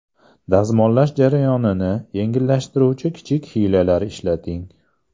Dazmollash jarayonini yengillashtiruvchi kichik hiylalar ishlating.